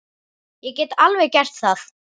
Ég get alveg gert það.